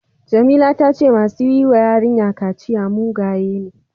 Jamila ta ce masu yi wa yarinya kaciya mugaye ne.